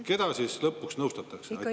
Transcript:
Keda siis lõpuks nõustatakse?